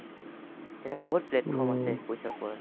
তেখেত সকলৰ বহুত platform আছে পইচা পোৱাৰ